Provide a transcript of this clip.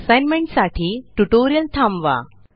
tutorial साठी assignment थांबवा